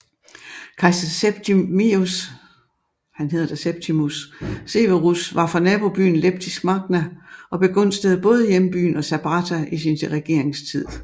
Kejser Septimius Severus var fra nabobyen Leptis Magna og begunstigede både hjembyen og Sabratha i sin regeringstid